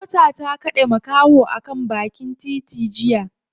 Mota ta kade makaho a bakin titi jiya.